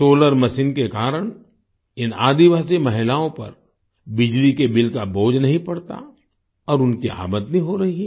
solar machine के कारण इन आदिवासी महिलाओं पर बिजली के बिल का बोझ नहीं पड़ता और उनकी आमदनी हो रही है